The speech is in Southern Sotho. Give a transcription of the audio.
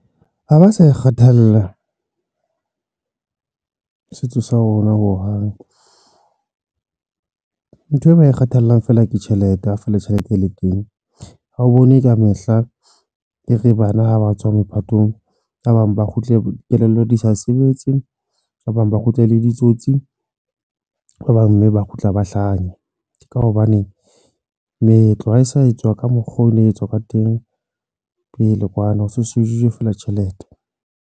Ha ba sa e kgethela setso sa rona hohang, nthwe ba e kgathallang feela ke tjhelete a feela tjhelete e le teng. Ha o bone ka mehla e re bana ha ba tswa mophatong, ba bang ba kgutle kelello di sa sebetse ba bang ba kgutle e le ditsotsi ba bang mme ba kgutla ba hlanya ka hobane meetlo ha e sa etswa ka mokgwa o no etswa ka teng pele kwana. Ho se se shejwe feela tjhelete.